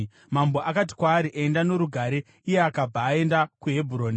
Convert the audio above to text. Mambo akati kwaari, “Enda norugare.” Iye akabva aenda kuHebhuroni.